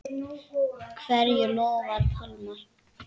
Hverju lofar Pálmar?